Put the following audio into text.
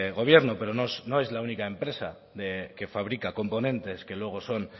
gobierno pero no es la única empresa que fabrica componentes que luego son